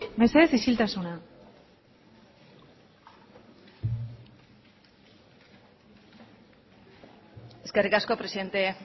mesedez isiltasuna eskerrik asko presidente